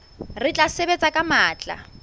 re tla sebetsa ka matla